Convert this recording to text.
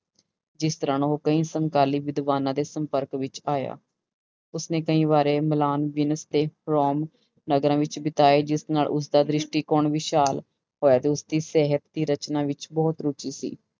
ਜਿਸ ਦੌਰਾਨ ਉਹ ਕਈ ਸਮਕਾਲੀ ਵਿਦਵਾਨਾਂ ਦੇ ਸੰਪਰਕ ਵਿੱਚ ਆਇਆ, ਉਸਨੇ ਕਈ ਵਾਰੀ ਨਗਰਾਂ ਵਿੱਚ ਬਿਤਾਏ ਜਿਸ ਨਾਲ ਉਸਦਾ ਦ੍ਰਿਸ਼ਟੀਕੋਣ ਵਿਸ਼ਾਲ ਹੋਇਆ ਤੇ ਉਸਦੀ ਸਹਿਤ ਦੀ ਰਚਨਾ ਵਿੱਚ ਬਹੁਤ ਰੁੱਚੀ ਸੀ